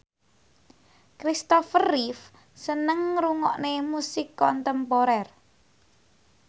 Christopher Reeve seneng ngrungokne musik kontemporer